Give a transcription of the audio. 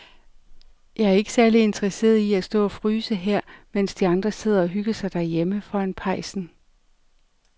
Jeg er ikke særlig interesseret i at stå og fryse her, mens de andre sidder og hygger sig derhjemme foran pejsen.